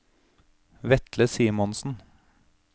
Vetle Simonsen